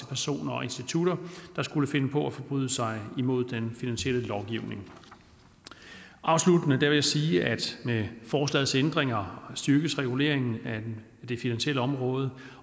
personer og institutter der skulle finde på at forbryde sig imod den finansielle lovgivning afsluttende vil jeg sige at med forslagets ændringer styrkes reguleringen af det finansielle område